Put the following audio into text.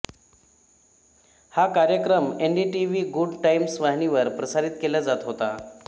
हा कार्यक्रम NDTV Good Times वाहिनीवर प्रसारित केला जात होता